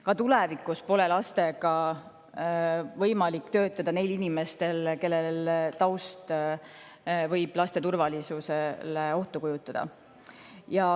Ka tulevikus pole lastega võimalik töötada neil inimestel, kelle taust võib laste turvalisusele ohtu kujutada.